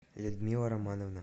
людмила романовна